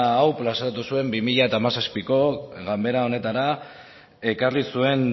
hau plazaratu zuen bi mila hamazazpiko ganbera honetara ekarri zuen